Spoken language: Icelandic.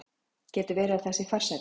Getur verið að það sé farsælla?